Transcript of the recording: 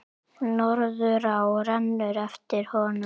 Norðurá rennur eftir honum.